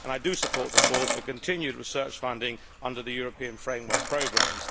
I support the calls for continued research funding under the European framework programmes.